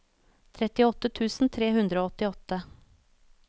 trettiåtte tusen tre hundre og åttiåtte